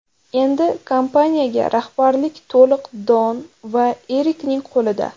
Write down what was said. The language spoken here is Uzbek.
Endi kompaniyaga rahbarlik to‘liq Don va Erikning qo‘lida.